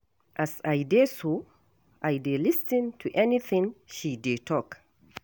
As I dey so, I dey lis ten to any thing she dey talk.